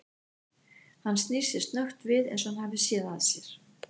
Hann snýr sér snöggt við eins og hann hafi séð að sér.